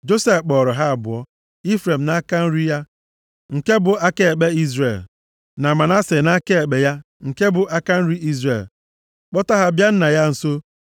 Josef kpọọrọ ha abụọ, Ifrem nʼaka nri ya nke bụ aka ekpe Izrel, na Manase nʼaka ekpe ya nke bụ aka nri Izrel, kpọta ha bịa nna ya nso.